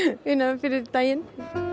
fyrir daginn